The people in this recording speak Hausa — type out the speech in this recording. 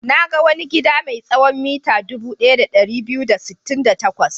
Na ga wani gida mai tsawon mita dubu ɗaya da ɗari biyu da sittin da takwas.